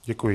Děkuji.